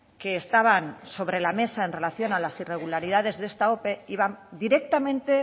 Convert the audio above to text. que estaban sobre la mesa en relación a las irregularidades de esta ope iban directamente